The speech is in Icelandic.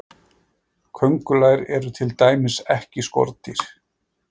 köngulær eru til dæmis ekki skordýr